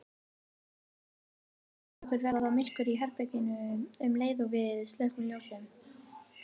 Þess vegna finnst okkur verða myrkur í herberginu um leið og við slökkvum ljósið.